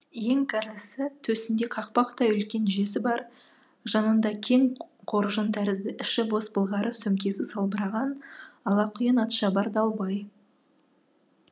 ең кәрлісі төсінде қақпақтай үлкен жезі бар жанында кең қоржын тәрізді іші бос былғары сөмкесі салбыраған алақұйын атшабар далбай